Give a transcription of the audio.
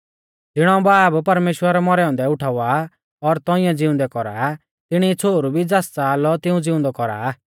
ज़िणौ बाब परमेश्‍वर मौरै औन्दै उठावा और तौंइऐ ज़िउंदै कौरा तिणी ई छ़ोहरु भी ज़ास च़ाहा लौ तिऊं ज़िउंदौ कौरा आ